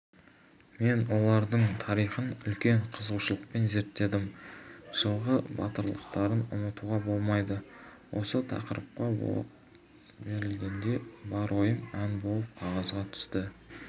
мен олардың тарихын үлкен қызығушылықпен зеттедім жылғы батырлықтарын ұмытуға болмайды осы тақырыпқа толық берілгенде бар ойым ән болып қағазға түсті